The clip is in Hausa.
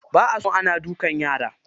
Ba a son ana duka yara.